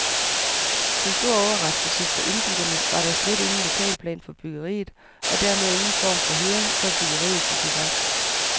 Til stor overraskelse for indbyggerne var der slet ingen lokalplan for byggeriet, og dermed ingen form for høring, før byggeriet gik i gang.